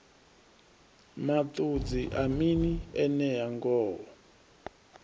maṱudzi a mini enea ngoho